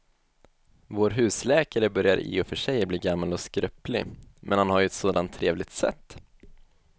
Vår husläkare börjar i och för sig bli gammal och skröplig, men han har ju ett sådant trevligt sätt!